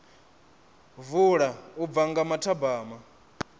vula u bva nga mathabama